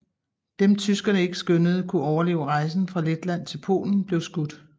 Dem tyskerne ikke skønnede kunne overleve rejsen fra Letland til Polen blev skudt